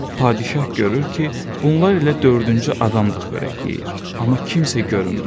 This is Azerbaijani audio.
Padşah görür ki, bunlar ilə dördüncü adam da xörək yeyir, amma kimsə görünmür.